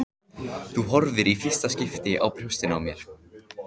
Þú horfir í fyrsta skipti á brjóstin á mér.